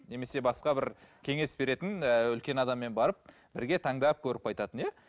немесе басқа бір кеңес беретін ыыы үлкен адаммен барып бірге таңдап көріп қайтатын иә